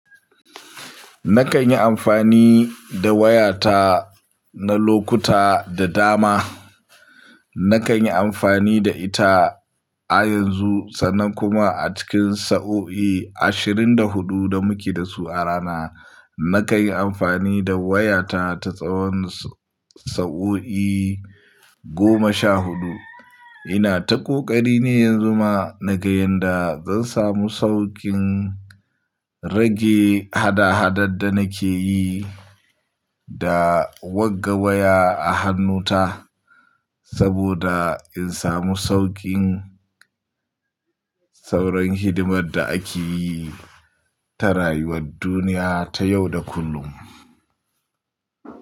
Nakan yi amfani da wayata na lokuta da dama. Nakan yi amfani da ita a yanzu, sannan kuma a cikin sa'o'i ashirin da hudu da muke da su a rana. Nakan yi amfani da wayata ta tsawon sa'o'i goma sha huɗu. Ina ta ƙoƙari ne yanzu ma, naga yanda zan samu saukin rage hada-hadar da nake yi da wagga waya a hannu ta. Saboda in samu saukin sauran hidimar da ake yi ta rayuwar duniya ta yau da kullum.